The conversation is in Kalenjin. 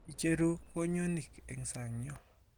Icheru kwoyonik eng sang yo.